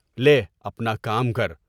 لے اپنا کام کر۔